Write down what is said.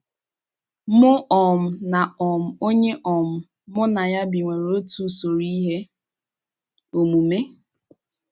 Mụ um na um onye um mụ na ya bi nwere otu usoro ihe omume.